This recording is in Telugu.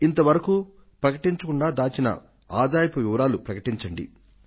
ఇంతవరకు ప్రకటించకుండా దాచిన ఆదాయపు వివరాలు ప్రకటించండి